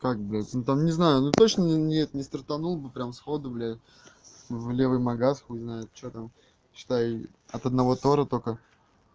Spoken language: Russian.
как блядь ну там не знаю но точно нет не стартанул бы прямо сходу блядь в левый магазин хуй знает что там считай от одного тора только